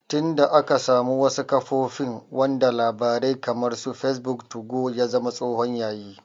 Tin da aka samu wasu kafofin wanda labarai kamar su fesbuk, tugo ya zama tsohon yayi